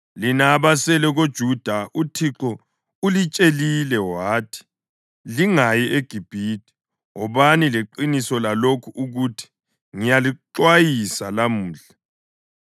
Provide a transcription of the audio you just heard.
Lina abasele koJuda, uThixo ulitshelile wathi, ‘Lingayi eGibhithe.’ Wobani leqiniso lalokhu ukuthi: Ngiyalixwayisa lamuhla